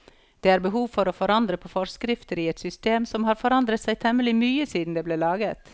Det er behov for å forandre på forskrifter i et system som har forandret seg temmelig mye siden det ble laget.